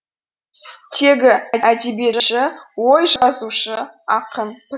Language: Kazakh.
теги әдебиетші ой жазушы ақын